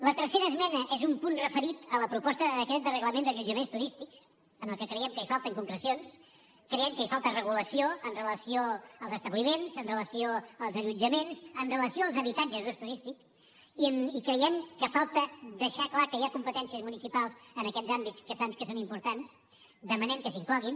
la tercera esmena és un punt referit a la proposta de decret del reglament d’allotjaments turístics en el que creiem que falten concrecions creiem que hi falta regulació amb relació als establiments amb relació als allotjaments amb relació als habitatges d’ús turístic i creiem que falta deixar clar que hi ha competències municipals en aquests àmbits que són importants i demanem que s’incloguin